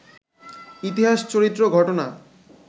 ইতিহাস, চরিত্র, ঘটনা